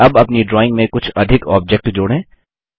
अब अपनी ड्राइंग में कुछ अधिक ऑब्जेक्ट जोड़ें